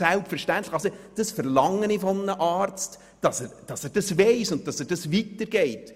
Selbstverständlich verlange ich von einem Arzt, dass er das weiss und diese Informationen zur Vorsorgeuntersuchung weitergibt.